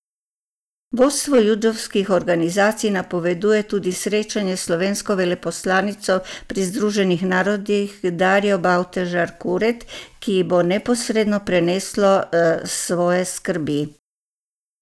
Vodstvo judovskih organizacij napoveduje tudi srečanje s slovensko veleposlanico pri Združenih narodih Darjo Bavdaž Kuret, ki ji bo neposredno preneslo svoje skrbi.